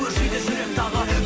өршиді жүрек тағы